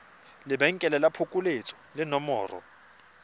lebenkele la phokoletso le nomoro